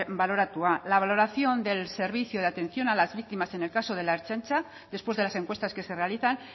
baloratua la valoración del servicio de atención a las víctimas en el caso de la ertzaintza después de las encuestas que se realizan